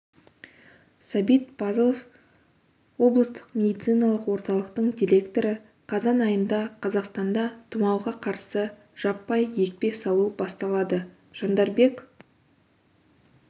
сәбит пазылов облыстық медициналық орталықтың директоры қазан айында қазақстанда тұмауға қарсы жаппай екпе салу басталады жандарбек